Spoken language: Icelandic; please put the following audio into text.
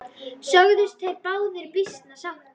Sögðust þeir báðir býsna sáttir.